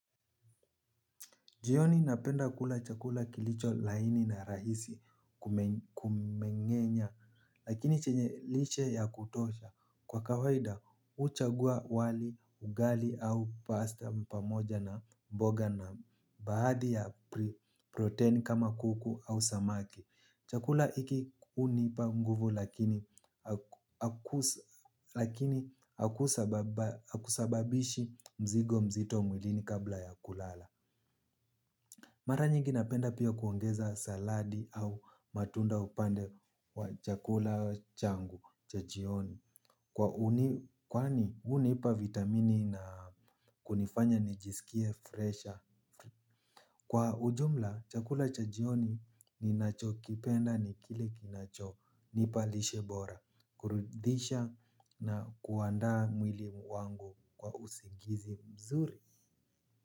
Jioni napenda kula chakula kilicho laini na rahisi kumengenya lakini chenye lishe ya kutosha kwa kawaida huchagua wali ugali au pasta pamoja na mboga na baadhi ya protein kama kuku au samaki. Chakula hiki unipa nguvu lakini hakusababishi mzigo mzito mwilini kabla ya kulala. Mara nyingi napenda pia kuongeza saladi au matunda upande wa chakula changu cha jioni. Kwa uni kwani unipa vitamini na kunifanya nijisikie freshi. Kwa ujumla chakula cha jioni ninacho kipenda ni kile kinacho nipa lishebora. Kurudisha na kuandaa mwili wangu kwa usingizi mzuri.